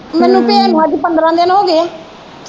ਮੈਨੂੰ ਪੇਏ ਨੂੰ ਅੱਜ ਪੰਦਰਾਂ ਦਿਨ ਹੋ ਗਏ ਆ।